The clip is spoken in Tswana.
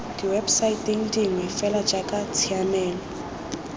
diwebosaeteng dingwe fela jaaka tshiamelo